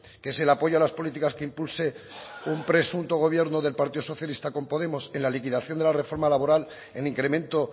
que es el apoyo a las políticas que impulse un presunto gobierno del partido socialista con podemos en la liquidación de la reforma laboral en incremento